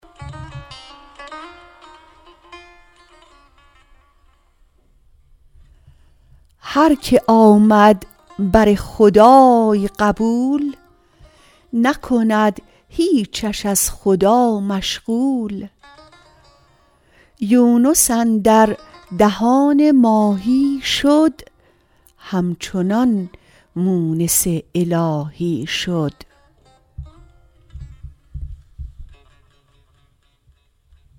هر که آمد بر خدای قبول نکند هیچش از خدا مشغول یونس اندر دهان ماهی شد همچنان مونس الهی شد